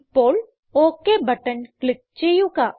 ഇപ്പോൾ okay button click ചെയ്യുക